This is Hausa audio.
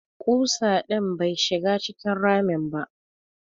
Ƙusa din bai shiga cikin ramin ba.